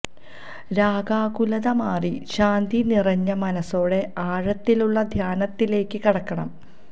രാഗാകുലത മാറി ശാന്തി നിറഞ്ഞ മനസ്സോടെ ആഴത്തിലുള്ള ധ്യാനത്തിലേക്കു കടക്കണം